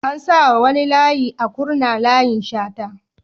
An sa wa wani layi a Kurna "Layin Shata"